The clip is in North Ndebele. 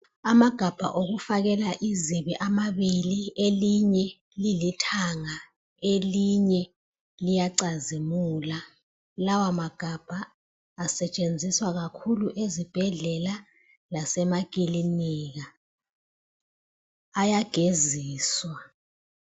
Amagabha okufakela izibi amabili elinye lilithanga elinye liyacazimula. Lawamagabha asetshenziswa kakhulu ezibhedlela lasemakilinika ayageziswa.